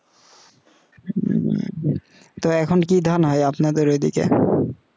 হম তো এখন আর কি ধান হয় আপনার ওই দিকে